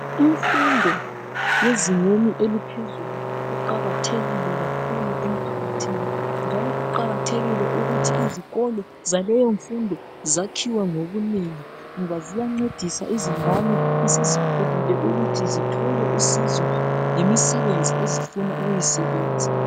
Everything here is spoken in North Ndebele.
Imfundo yezingeni eliphezulu iqakathekile kakhulu emphakathini njalo kuqakathekile ukuthi izikolo zaleyomfundo zakhiwe ngobunengi ngoba ziyancedisa izingane esezikhulile ukuthi zithole usizo ngemisebenzi ezifuna ukuyisebenza.